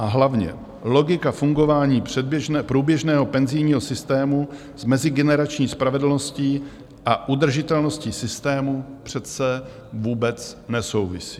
A hlavně, logika fungování průběžného penzijního systému s mezigenerační spravedlností a udržitelností systému přece vůbec nesouvisí.